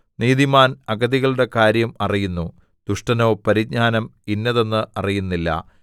നീതിമാൻ അഗതികളുടെ കാര്യം അറിയുന്നു ദുഷ്ടനോ പരിജ്ഞാനം ഇന്നതെന്ന് അറിയുന്നില്ല